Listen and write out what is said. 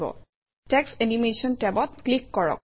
text animation টেবত click কৰক